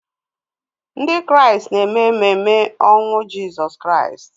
Ndị Kraịst na-eme ememe ọnwụ Jizọs Kraịst